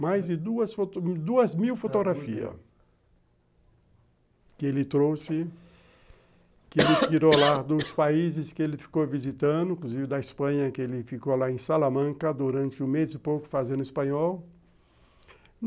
mais de duas mil fotografias que ele trouxe, que ele tirou lá dos países que ele ficou visitando, inclusive da Espanha, que ele ficou lá em Salamanca durante um mês e pouco fazendo espanhol.